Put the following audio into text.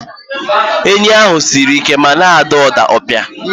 Enyí ahụ siri ike ma na-ada ụda opi.